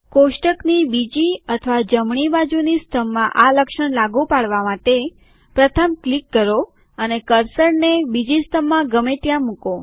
કોષ્ટકની બીજી અથવા જમણી બાજુની સ્તંભમાં આ લક્ષણ લાગુ પાડવા માટે પ્રથમ ક્લિક કરો અને કર્સરને બીજી સ્તંભમાં ગમે ત્યાં મૂકો